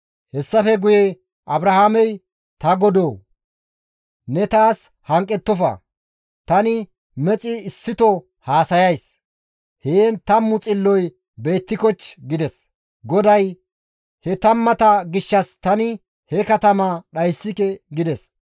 Hessafe guye Abrahaamey, «Ta Godoo! Ne ta bolla hanqettofa; tani mexi issito haasayays; heen 10 xilloy beettikochchii?» gides. GODAY, «He tammata gishshas tani he katamaa dhayssike» gides.